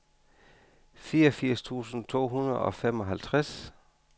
fireogfirs tusind to hundrede og femoghalvtreds